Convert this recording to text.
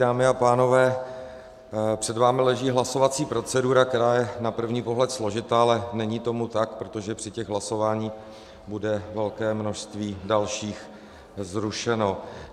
Dámy a pánové, před vámi leží hlasovací procedura, která je na první pohled složitá, ale není tomu tak, protože při těch hlasováních bude velké množství dalších zrušeno.